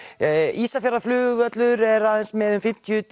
Ísafjarðarflugvöllur er aðeins með um fimmtíu